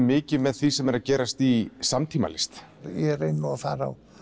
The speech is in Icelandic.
mikið með því sem er að gerast í samtímalist ég reyni nú að fara á